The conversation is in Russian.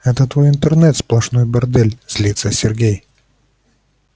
это твой интернет сплошной бордель злится сергей